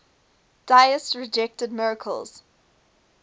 deists rejected miracles